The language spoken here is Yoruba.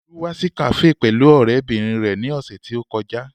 Olú wá sí kafe pẹ̀lú ọ̀rẹ́bìnrin rẹ ní ọ̀sẹ̀ tí ó kọjá